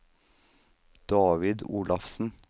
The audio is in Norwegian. David Olafsen